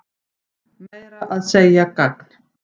Meira að segja gagn.